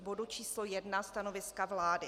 K bodu číslo 1 stanoviska vlády.